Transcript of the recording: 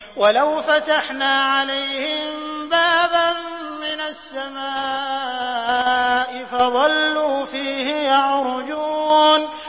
وَلَوْ فَتَحْنَا عَلَيْهِم بَابًا مِّنَ السَّمَاءِ فَظَلُّوا فِيهِ يَعْرُجُونَ